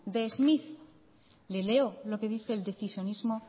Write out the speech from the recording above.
de schmitt le leo lo que dice el decisionismo